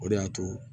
O de y'a to